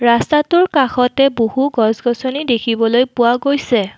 ৰাস্তাটোৰ কাষতে বহু গছ গছনি দেখিবলৈ পোৱা গৈছে।